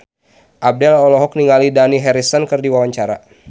Abdel olohok ningali Dani Harrison keur diwawancara